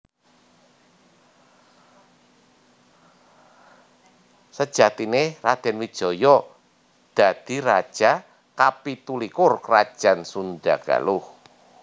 Sejatiné Radèn Wijaya dadi raja kapitu likur Krajan Sundha Galuh